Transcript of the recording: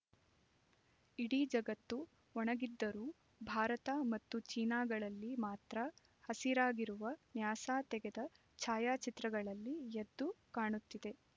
ಇಡೀ ಜಗತ್ತು ಒಣಗಿದ್ದರೂ ಭಾರತ ಮತ್ತು ಚೀನಾಗಳಲ್ಲಿ ಮಾತ್ರ ಹಸಿರಾಗಿರುವುದು ನ್ಯಾಸಾ ತೆಗೆದ ಛಾಯಾಚಿತ್ರಗಳಲ್ಲಿ ಎದ್ದು ಕಾಣುತ್ತಿದೆ